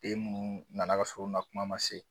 Den munnu na na ka sɔrɔ u na kuma ma se